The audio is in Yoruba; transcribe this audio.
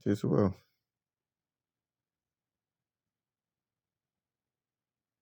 It is well.